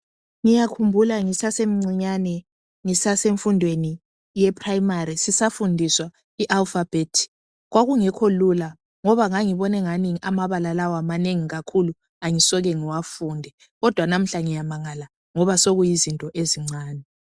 Ngiyakhumbula ngisasemncinyane ngisasemfundweni ye phurayimari sisafundiswa i alufabhethi kwakungekho lula ngoba ngangibona angani amabala lawa manengi kakhulu angisoke ngiwafunde kodwa namuhla ngiyamangala ngoba soyizinto ezincane.